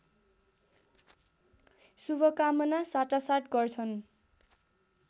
शुभकामना साटासाट गर्छन्